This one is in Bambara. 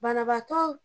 Banabaatɔ